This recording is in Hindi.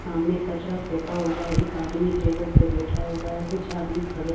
सामने कचरा फेंका हुआ एक आदमी टेबल पे बैठा हुआ है कुछ आदमी खड़े--